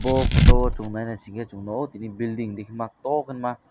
bo photo o chung nai naisike chung nuko tini building dikma tokhma.